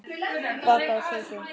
Bakaðu köku.